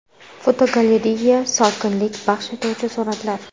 Fotogalereya: Sokinlik baxsh etuvchi suratlar.